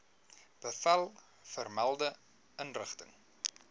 bevel vermelde inrigting